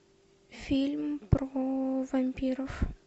фильм про вампиров